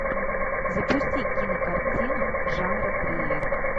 запусти кинокартину жанра триллер